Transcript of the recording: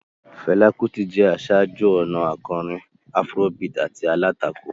Fela Kuti jẹ́ aṣáájú-ọ̀nà akọrin Afrobeat àti alátakò.